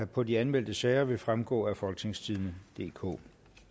på de anmeldte sager vil fremgå af folketingstidende DK